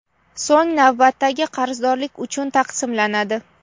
so‘ng navbatdagi qarzdorliklar uchun taqsimlanadi.